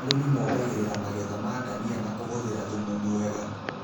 Arĩmi mongagĩrĩra magetha ma ndania na kũhũthĩra thumu mwega